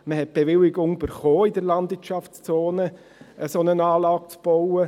Man erhielt die Bewilligung, in der Landwirtschaftszone eine solche Anlage zu bauen.